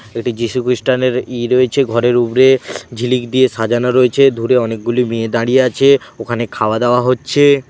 এটি যিশু খ্রিস্টান এর ঈদ হয়েছে ঘরের উপরে ঝিলিক দিয়ে সাজানো রয়েছে দূরে অনেকগুলি মেয়ে দাঁড়িয়ে আছে ওখানে খাওয়া-দাওয়া হচ্ছে।